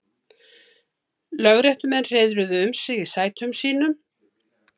Lögréttumenn hreiðruðu um sig í sætum sínum.